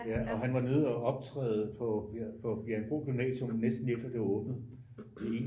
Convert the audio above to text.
Ja og han var nede og optræde på her på Bjerringbro Gymnasium næsten lige efter det var åbnet